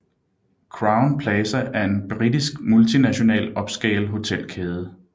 Crowne Plaza er en britisk multinational upscale hotelkæde